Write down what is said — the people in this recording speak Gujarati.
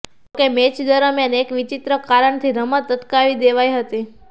જોકે મેચ દરમિયાન એક વિચિત્ર કારણથી રમત અટકાવી દેવાઈ હતી